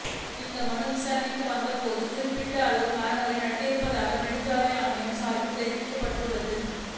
இந்த மனு விசாரணைக்கு வந்த போது குறிப்பிட்ட அளவு மரங்கள் நடப்பட்டிருப்பதாக நெடுஞ்சாலை ஆணையம் சார்பில் தெரிவிக்கப் பட்டது